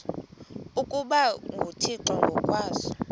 ukuba nguthixo ngokwaso